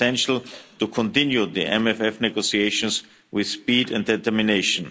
It's essential to continue the MFF negotiations with speed and determination.